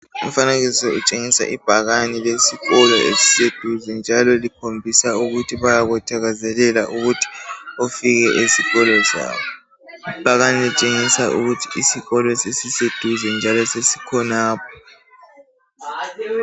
Umfanekiso untshengisa ibhakane lesikolo esiseduze njalo likhombisa ukuthi bayakuthakazelela ukuthi ufike esikolo sabo ibhakane lintshengisa ukuthi isikolo sesiseduze njalo sesikhonapho